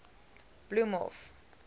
bloemhof